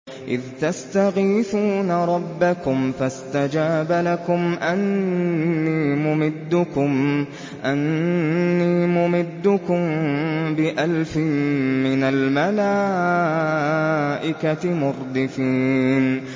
إِذْ تَسْتَغِيثُونَ رَبَّكُمْ فَاسْتَجَابَ لَكُمْ أَنِّي مُمِدُّكُم بِأَلْفٍ مِّنَ الْمَلَائِكَةِ مُرْدِفِينَ